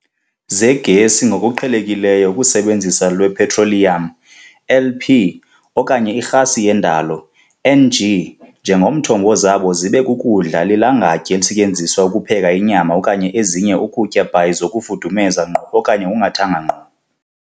Zegesi ngokuqhelekileyo ukusebenzisa lwepetroliyam, LP, okanye irhasi yendalo, NG, njengomthombo zabo zibe kukudla lilangatye esetyenziswayo ukupheka inyama okanye ezinye ukutya by zokufudumeza ngqo okanye ngokungathanga ngqo.